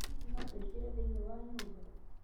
Hihi no tũingĩre thĩinĩ wa nyũmba?